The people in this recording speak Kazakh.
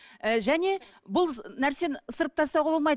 і және бұл нәрсені ысырып тастауға болмайды